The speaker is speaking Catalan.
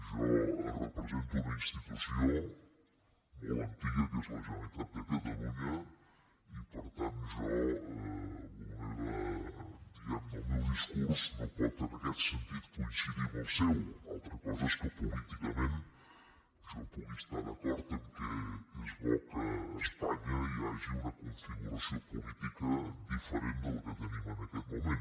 jo represento una institució molt antiga que és la generalitat de catalunya i per tant jo diguem ne el meu discurs no pot en aquest sentit coincidir amb el seu altra cosa és que políticament jo pugui estar d’acord que és bo que a espanya hi hagi una configuració política diferent de la que tenim en aquest moment